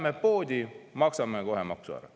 Läheme poodi, maksame kohe maksu ära.